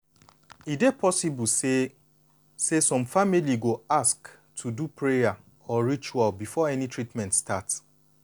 e dey possible say say some families go ask to do prayer or some rituals before any treatment start.